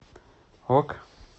ок